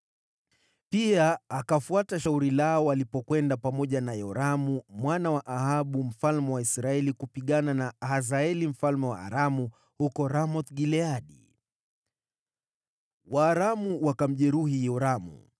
Pia akafuata shauri lao alipokwenda pamoja na Yoramu mwana wa Ahabu mfalme wa Israeli kupigana na Hazaeli mfalme wa Aramu huko Ramoth-Gileadi. Waaramu wakamjeruhi Yoramu.